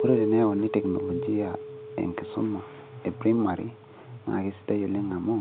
ore teneyauni teknologia enkisuma e primary naa keisdai oleng amu